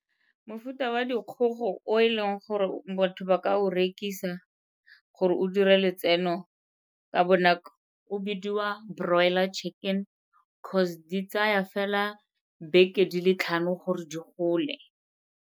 Mofuta wa dikgogo o e leng gore botho ba ka o rekisa gore o dire letseno ka bonako o bidiwa Broiler Chicken cause di tsaya fela beke di le tlhano gore di gole.